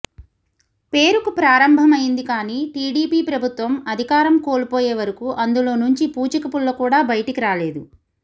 పేరుకు ప్రారంభమైంది కానీ టీడీపీ ప్రభుత్వం అధికారం కోల్పోయే వరకూ అందులో నుంచి పూచిక పుల్ల కూడా బయటికి రాలేదు